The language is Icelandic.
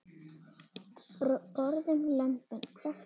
Borðum lömbin, hvekkt á skeri.